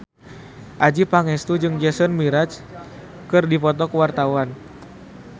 Adjie Pangestu jeung Jason Mraz keur dipoto ku wartawan